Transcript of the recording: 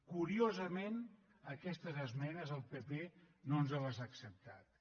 curiosament aquestes esmenes el pp no ens les ha acceptats